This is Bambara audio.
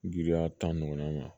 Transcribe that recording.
Giriya tan ɲɔgɔnna ma